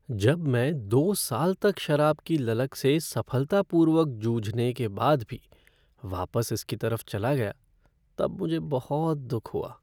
जब मैं दो साल तक शराब की ललक से सफलतापूर्वक जूझने के बाद भी वापस इसकी तरफ चला गया तब मुझे बहुत दुख हुआ।